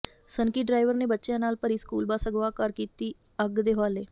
ਸਨਕੀ driver ਨੇ ਬੱਚਿਆਂ ਨਾਲ ਭਰੀ ਸਕੂਲ ਬੱਸ ਅਗ਼ਵਾ ਕਰ ਕੀਤੀ ਅੱਗ ਦੇ ਹਵਾਲੇ